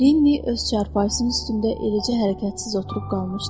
Linni öz çarpayısının üstündə eləcə hərəkətsiz oturub qalmışdı.